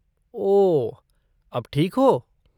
ओह, अब ठीक हो?